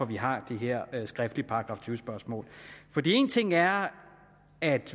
vi har de her skriftlige § tyve spørgsmål en ting er